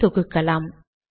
இதை தொகுக்கலாம்